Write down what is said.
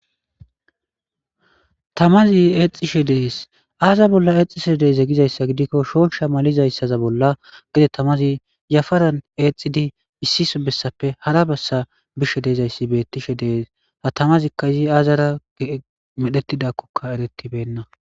Tamazzi etishshe de'es azza bolla etishshe de'izaysa giddikko shoshsha mallizayissa bollan gedde tamazi etiddi issi bessappe hara bessa bishshe dizaysa betteshe dizaysakko ha tamazzi izzi azzara medhdhetidhakokka eretibena.